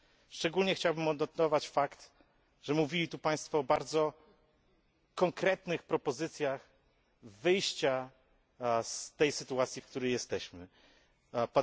Szczególnie chciałbym odnotować fakt, że mówili tu Państwo o bardzo konkretnych propozycjach wyjścia z tej sytuacji, w której się teraz znajdujemy.